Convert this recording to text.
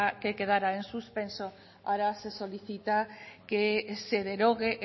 que quedara en suspenso ahora se solicita que se derogue